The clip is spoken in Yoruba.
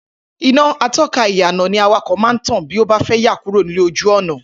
Iná ató̩kà ìyànà ni awakò̩ máa ń tàn bí ó bá fé̩ yà kúrò lójú ò̩nà